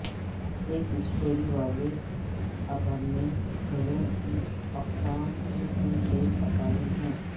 ایک اسٹوری والے اپارٹمنٹ گھروں کی اقسام جس میں ایک اٹاری ہے